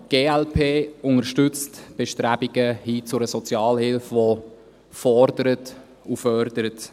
Die glp unterstützt die Bestrebungen hin zu einer Sozialhilfe, die fordert und fördert.